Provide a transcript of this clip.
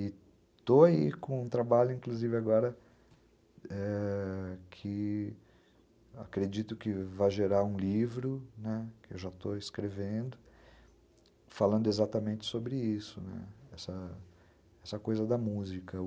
E estou aí com um trabalho, inclusive agora, ãh... que acredito que vai gerar um livro, que eu já estou escrevendo, falando exatamente sobre isso, essa coisa da música,